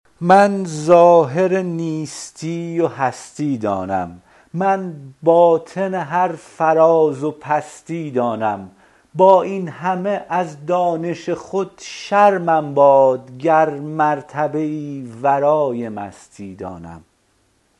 من ظاهر نیستی و هستی دانم من باطن هر فراز و پستی دانم با این همه از دانش خود شرمم باد گر مرتبه ای ورای مستی دانم